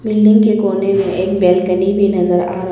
building के कोने में एक बालकनी भी नजर आ रहा --